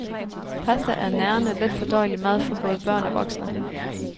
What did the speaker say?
Pasta er nærende, let fordøjelig mad for både børn og voksne.